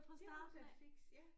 Det var da et fix ja